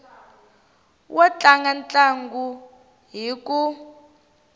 wo tlanga ntlangu hi ku